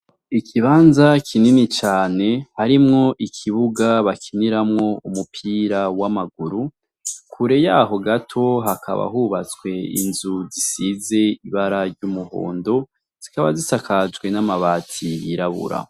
Ikibanza kinini cane, harimwo ikibuga bakiniramwo umupira w'amaguru. Kure yaho gato hakaba yubatswe inzu isizwe ibara ry'umuhondo. Zikaba zisakajwe n'amabati yirabura.